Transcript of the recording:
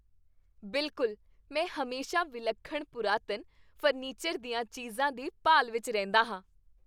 ਬਿਲਕੁਲ! ਮੈਂ ਹਮੇਸ਼ਾ ਵਿਲੱਖਣ ਪੁਰਾਤਨ ਫਰਨੀਚਰ ਦੀਆਂ ਚੀਜ਼ਾਂ ਦੀ ਭਾਲ ਵਿੱਚ ਰਹਿੰਦਾ ਹਾਂ।